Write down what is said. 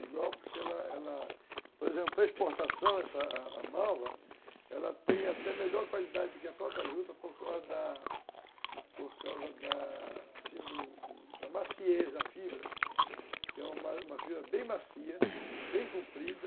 Igual porque ela ela, por exemplo, para exportação, a malva, ela tem até melhor qualidade do que a própria juta por causa da por causa da do da maciez da fibra, que é uma fibra bem macia, bem comprida,